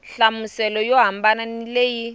nhlamuselo yo hambana ni leyi